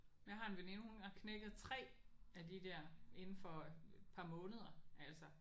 Men jeg har en veninde hun har knækket 3 af de der inde for et par måneder altså